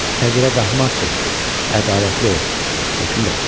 Fəqirə qahmar çıx, ədalətli ol, hökmdar.